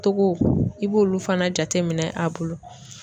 Togo i b'olu fana jateminɛ a bolo